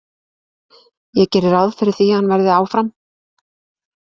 Ég geri ráð fyrir því að hann verði áfram.